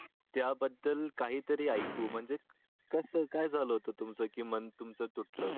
त्या बद्दल काही तरी ऐकू म्हणजे कस काय झाल होत तुमच की मन तुमच तुटल.